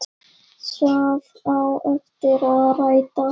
Það átti eftir að rætast.